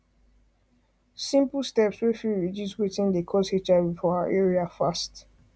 simple steps wey fit reduce watin dey cause hiv for our area fast